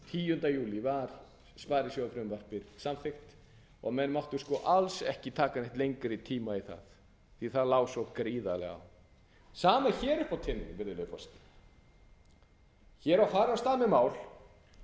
tíunda júlí var sparisjóðsfrumvarpið samþykkt og menn máttu alls ekki taka neitt lengri tíma í það af því að það lá svo gríðarlega á sama er hér uppi á teningnum virðulegi forseti ég er að fara af stað með mál